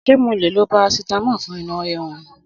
Sé mo le lo parasitamọ̀ fún inú rìrún?